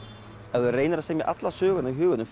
ef þú reynir að semja alla söguna í huganum